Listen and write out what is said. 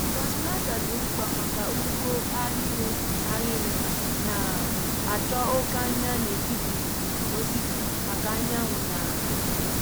transplanter dị mkpa maka ugbo ahịrị ahịrị na-achọ oke anya n’etiti osisi maka anyanwụ na ikuku.